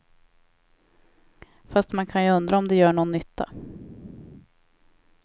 Fast man kan ju undra om det gör nån nytta.